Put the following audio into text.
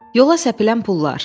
Yola səpilən pullar.